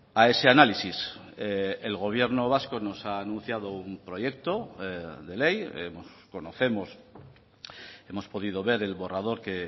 a ese análisis el gobierno vasco nos ha anunciado un proyecto de ley conocemos hemos podido ver el borrador que